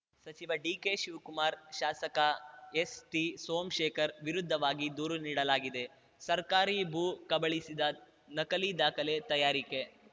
ಸಚಿವ ಡಿಕೆಶಿವ್ ಕುಮಾರ್‌ ಶಾಸಕ ಎಸ್‌ಟಿಸೋಮ್ ಶೇಖರ್‌ ವಿರುದ್ಧವು ದೂರು ನೀಡಲಾಗಿದೆ ಸರ್ಕಾರಿ ಭೂ ಕಬಳಿಸಿದ ನಕಲಿ ದಾಖಲೆ ತಯಾರಿಕೆ